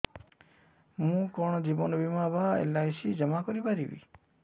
ମୁ କଣ ଜୀବନ ବୀମା ବା ଏଲ୍.ଆଇ.ସି ଜମା କରି ପାରିବି